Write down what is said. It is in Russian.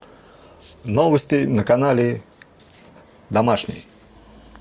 новости на канале домашний